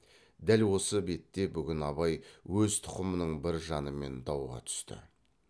дәл осы бетте бүгін абай өз тұқымының бір жанымен дауға түсті